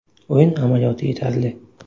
O‘yin amaliyoti yetarli.